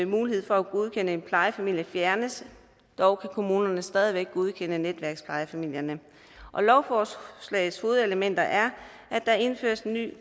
mulighed for at godkende en plejefamilie fjernes dog kan kommunerne stadig væk godkende netværksplejefamilierne lovforslagets hovedelementer er at der indføres nye